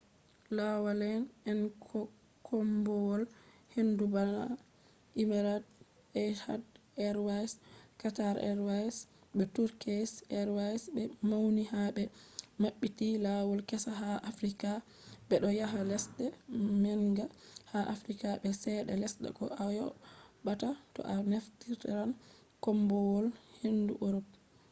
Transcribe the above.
laawaale'en koombowal-hendu bana emirates, etihad airways qatar airways be turkish airways be mauni ha be mabbiti lawol kessa ha africa bedo yaha lesde manga ha africa be chede lesta ko ayobata to a naftiran koombowal-hendu europe